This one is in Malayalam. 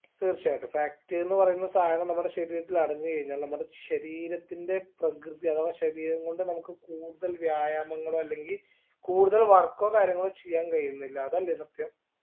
തീർച്ചയായിട്ടും fat ന്ന് പറയുന്ന സാധനം നമ്മുടെ ശരീരത്തിൽ അടഞ്ഞു കഴിഞ്ഞാൽ നമ്മുടെ ശരീരത്തിന്റെ പ്രകൃതി അഥവാ ശരീരം കൊണ്ട് നമുക്ക് കൂടുതൽ വ്യായാമങ്ങളോ അല്ലെങ്കി കൂടുതൽ work ഓ കാര്യങ്ങളോ ചെയ്യാൻ കഴിയുന്നില്ല അതല്ലേ സത്യം